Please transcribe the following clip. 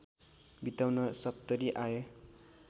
बिताउन सप्तरी आए